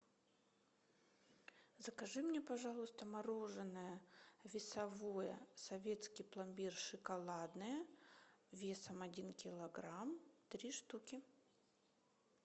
закажи мне пожалуйста мороженое весовое советский пломбир шоколадное весом один килограмм три штуки